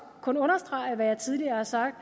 kun understrege hvad jeg tidligere har sagt